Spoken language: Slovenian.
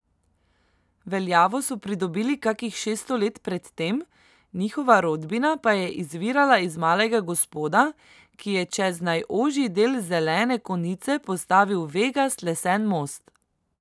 Veljavo so pridobili kakih šeststo let predtem, njihova rodbina pa je izvirala iz malega gospoda, ki je čez najožji del Zelene konice postavil vegast lesen most.